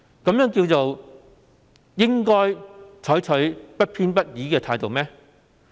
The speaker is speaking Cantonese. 這叫做"採取不偏不倚的態度"嗎？